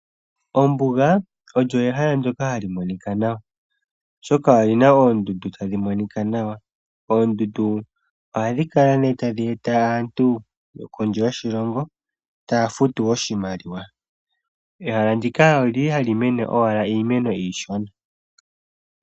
Ombuga olyo ehala ndyoka hali monika nawa oshoka olyina oondundu tadhi monika nawa. Oondundu ohadhi kala ne tadhi eta aantu kondje yoshilongo taya futu oshimaliwa. Ehala ndika olyili owala hali mene iimeno iishona.